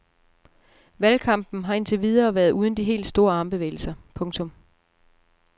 Valgkampen har indtil videre været uden de helt store armbevægelser. punktum